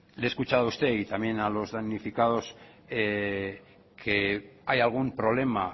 le he escuchado a usted y también a los damnificados que hay algún problema